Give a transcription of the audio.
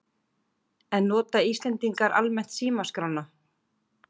En nota Íslendingar almennt símaskrána?